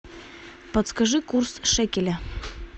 подскажи курс шекеля